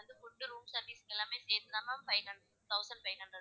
உங்களுக்கு வந்து room service எல்லாமே சேத்துதான் ma'am five thousand five hundred,